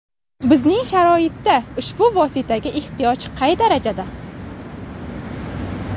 Bizning sharoitda ushbu vositaga ehtiyoj qay darajada?